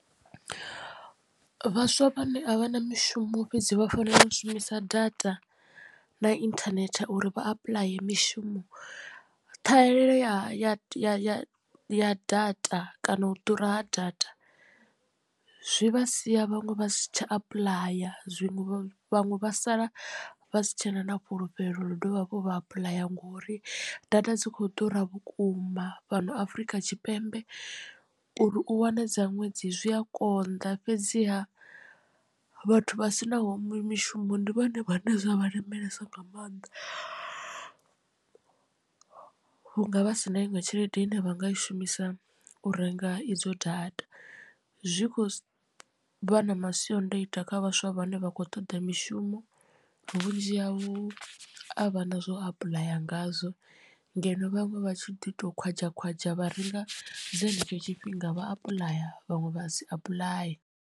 Vhaswa vhane a vha na mishumo fhedzi vha fanela u shumisa data na internet uri vha apply mishumo ṱhahelelo ya ya ya ya data kana u ḓura ha data zwi vha sia vhaṅwe vha si tsha apuḽaya zwiṅwe vhaṅwe vha sala vha si tshena na fhulufhelo ḽa u dovha hafhu vha apuḽaya ngori data dzi khou ḓura vhukuma fhano afrika tshipembe. Uri u wane dza ṅwedzi zwi a konḓa fhedziha vhathu vha sinaho mishumo ndi vhone vhane zwa vha lemelesa nga maanḓa hu nga vha si na iṅwe tshelede ine vha nga i shumisa u renga idzo data zwi kho vha na masiandoitwa kha vhaswa vhane vha khou toḓa mishumo vhunzhi havho a vha na zwo apuḽaya ngazwo ngeno vhaṅwe vha tshi ḓi to khwadzha khwadzha vha renga dza henetsho tshifhinga vha apuḽaya vhaṅwe vha si apuḽaye.